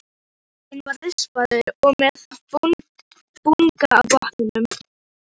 Ég býst við því, svaraði Lóa.